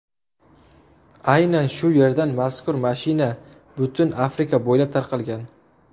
Aynan shu yerdan mazkur mashina butun Afrika bo‘ylab tarqalgan.